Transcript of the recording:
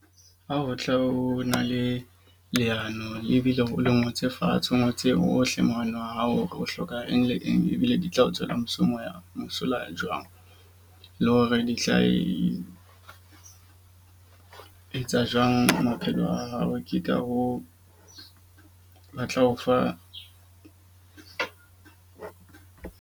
Ha o tle o na le leano ebile o le ngotse fatshe, o ngotse ohle monahano wa hao. O hloka eng le eng ebile di tla o tswela mosola jwang le hore di tla e etsa jwang. Maphelo a hao, ke ka hoo ba tla o fa .